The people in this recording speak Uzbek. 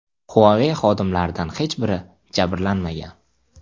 Huawei xodimlaridan hech biri jabrlanmagan.